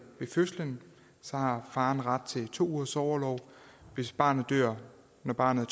fødslen har faren ret til to ugers orlov hvis barnet dør når barnet